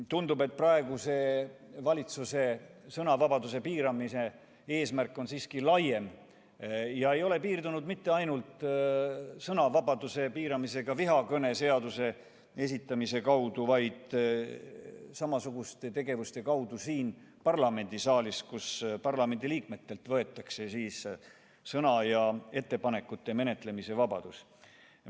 Tundub, et praeguse valitsuse sõnavabaduse piiramise eesmärk on siiski laiem ja see ei ole piirdunud mitte ainult sõnavabaduse piiramisega vihakõne seaduse eelnõu esitamise kaudu, vaid samasuguste tegevuste kaudu siin parlamendisaalis, kus parlamendiliikmetelt võetakse sõna- ja ettepanekute menetlemise vabadus.